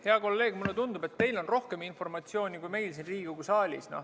Hea kolleeg, mulle tundub, et teil on rohkem informatsiooni kui meil siin Riigikogu saalis.